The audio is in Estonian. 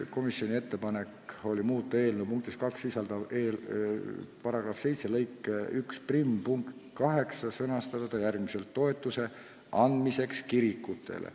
Komisjoni ettepanek on muuta eelnõu punktis 2 sisalduv erastamisest laekuva raha kasutamise seaduse § 7 lõike 11 punkt 8 ja sõnastada see järgmiselt: toetuse andmiseks kirikutele.